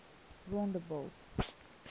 rondebult